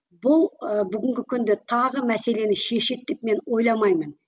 бұл ы бүгінгі күнді тағы мәселені шешеді деп мен ойламаймын